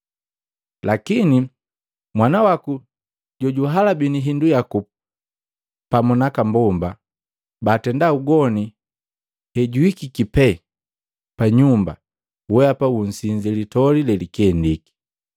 Lakini mwana waku jojuhalabini hindu yaku pamu naaka mbomba baatenda ugoni hejuhikiki pee pa nyumba mweapa munsinzi litoli lelikendiki!’